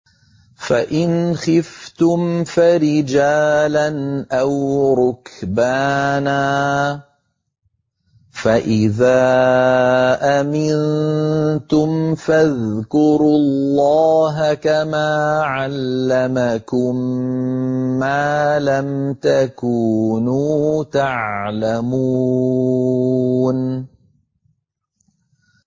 فَإِنْ خِفْتُمْ فَرِجَالًا أَوْ رُكْبَانًا ۖ فَإِذَا أَمِنتُمْ فَاذْكُرُوا اللَّهَ كَمَا عَلَّمَكُم مَّا لَمْ تَكُونُوا تَعْلَمُونَ